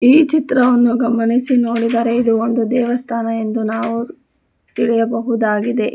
ಈ ಚಿತ್ರವನ್ನು ಗಮನಿಸಿ ನೋಡಿದರೆ ಇದು ಒಂದು ದೇವಸ್ಥಾನ ಎಂದು ನಾವು ತಿಳಿಯಬಹುದಾಗಿದೆ.